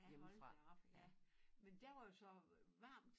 Ja hold da op ja men der var jo så varmt